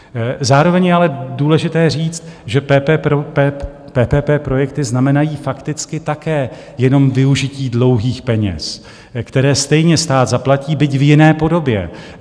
Zároveň je ale důležité říct, že PPP projekty znamenají fakticky také jenom využití dlouhých peněz, které stejně stát zaplatí, byť v jiné podobě.